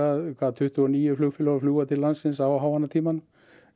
tuttugu og níu flugfélög að flúga til landsins á háannatímanum